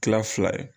Kila fila ye